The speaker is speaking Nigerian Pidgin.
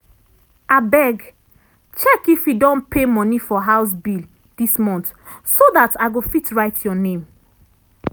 abeg check if e don pay money for house bill dis month so dat i go fit write your name.